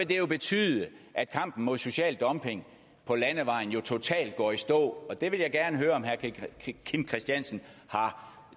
det jo betyde at kampen mod social dumping på landevejen totalt går i stå og det vil jeg gerne høre om herre kim christiansen har